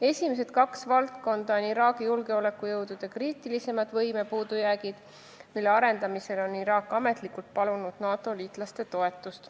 Esimesed kaks on kriitilisemad valdkonnad, kus Iraagi julgeolekujõududes on võime puudujääke, mille kõrvaldamiseks on Iraak ametlikult palunud NATO liitlaste toetust.